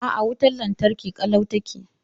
A'a, wutar lantarki ƙalau take.